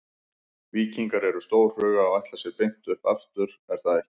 Víkingar eru stórhuga og ætla sér beint upp aftur er það ekki?